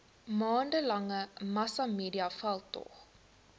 maande lange massamediaveldtog